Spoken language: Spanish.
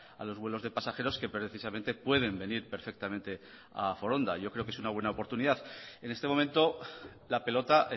a los vuelos de pasajeros que precisamente pueden venir perfectamente a foronda yo creo que es una buena oportunidad en este momento la pelota